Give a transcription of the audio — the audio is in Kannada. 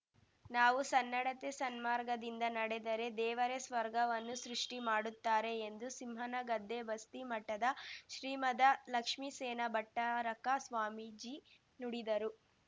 ನಾವು ಸನ್ನಡತೆ ಸನ್ಮಾರ್ಗದಿಂದ ನಡೆದರೆ ದೇವರೇ ಸ್ವರ್ಗವನ್ನು ಸೃಷ್ಠಿ ಮಾಡುತ್ತಾರೆ ಎಂದು ಸಿಂಹನಗದ್ದೆ ಬಸ್ತಿ ಮಠದ ಶ್ರೀಮದ ಲಕ್ಷ್ಮಿ ಸೇನಾ ಭಟ್ಟಾರಕ ಸ್ವಾಮೀಜಿ ನುಡಿದರು